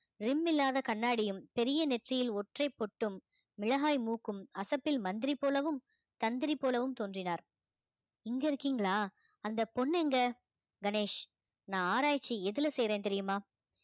rim இல்லாத கண்ணாடியும் பெரிய நெற்றியில் ஒற்றைப் போட்டும் மிளகாய் மூக்கும் அசப்பில் மந்திரி போலவும் தந்திரி போலவும் தோன்றினார் இங்க இருக்கீங்களா அந்த பொண்ணு எங்க கணேஷ் நான் ஆராய்ச்சி எதுல செய்யறேன்னு தெரியுமா